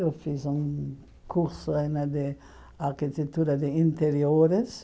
Eu fiz um curso né de arquitetura de interiores.